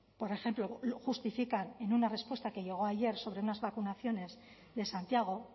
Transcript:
por ejemplo justifican en una respuesta que llegó ayer sobre unas vacunaciones de santiago